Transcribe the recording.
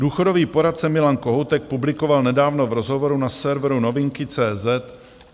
Důchodový poradce Milan Kohoutek publikoval nedávno v rozhovoru na serveru novinky.cz